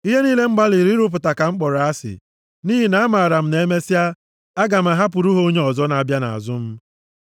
Ihe niile m gbalịrị ịrụpụta ka m kpọrọ asị, nʼihi na amaara m na emesịa, aga m ahapụrụ ha onye ọzọ na-abịa nʼazụ m.